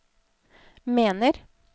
mener